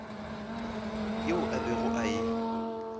yeo a bego a e